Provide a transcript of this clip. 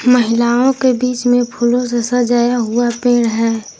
महिलाओं के बीच में फूलों से सजाया हुआ पेड़ है।